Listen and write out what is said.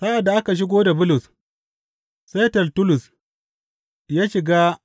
Sa’ad da aka shigo da Bulus, sai Tertullus ya shiga